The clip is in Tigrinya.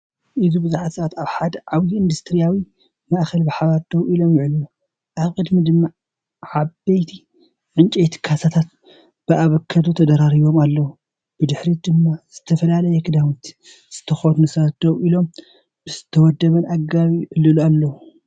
እዚ ብዙሓት ሰባት ኣብ ሓደ ዓቢ ኢንዱስትርያዊ ማእከል ብሓባር ደው ኢሎም ይዕልሉ። ኣብ ቅድሚት ድማ ዓበይቲ ዕንጨይቲ ካሳታት ብኣቮካዶ ተደራሪቦም ኣለዉ። ብድሕሪት ድማ ዝተፈላለየ ክዳውንቲ ዝተኸድኑ ሰባት ደው ኢሎም ብዝተወደበ ኣገባብ ይዕልሉ ኣለዉ።